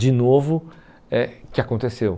De novo, eh o que aconteceu?